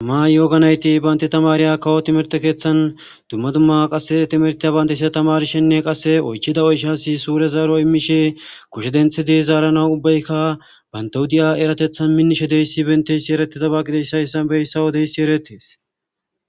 Ma yooganayti baynti tamariya kawo timerte keeththan dumma dumma qasse timertiya bayndeysia tamarshenne qasse oychida oyshasi suure zaaro immishe koshe denthidi zaarana ubbaykka bantahudiya eratethan minnishe deyssi benteysi eretida baaqideyssa issanbeyssawo deyssi eretes.